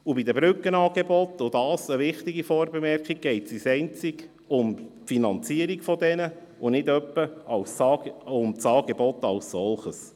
Zweitens: Bei den Brückenangeboten geht es um deren Finanzierung und nicht um das Angebot als solches.